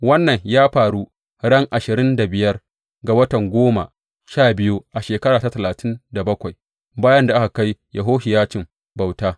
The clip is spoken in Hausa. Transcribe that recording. Wannan ya faru ran ashirin da biyar ga watan goma sha biyu a shekara ta talatin da bakwai bayan da aka kai Yehohiyacin bauta.